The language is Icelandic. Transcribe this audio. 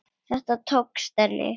Þetta tókst henni.